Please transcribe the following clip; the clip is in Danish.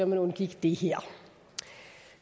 man undgik det her